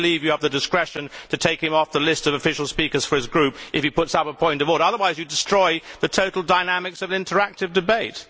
I do not believe you have the discretion to take him off the list of official speakers for his group if he puts up a point of order. Otherwise you destroy the total dynamics of interactive debate.